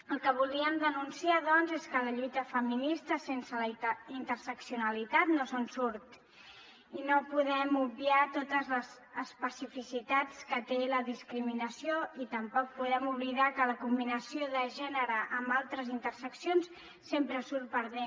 el que volíem denunciar doncs és que la lluita feminista sense la interseccionalitat no se’n surt i no podem obviar totes les especificitats que té la discriminació i tampoc podem oblidar que la combinació de gènere amb altres interseccions sempre surt perdent